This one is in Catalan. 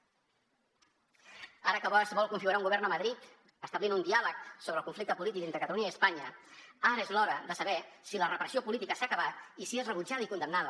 ara que es vol configurar un govern a madrid establint un diàleg sobre el conflicte entre catalunya i espanya ara és l’hora de saber si la repressió política s’ha acabat i si és rebutjada i condemnada